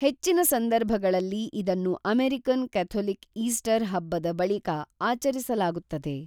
ಹೆಚ್ಚಿನ ಸಂದರ್ಭಗಳಲ್ಲಿ ಇದನ್ನು ಅಮೆರಿಕನ್ ಕೆಥೊಲಿಕ್ ಈಸ್ಟರ್ ಹಬ್ಬದ ಬಳಿಕ ಆಚರಿಸಲಾಗುತ್ತದೆ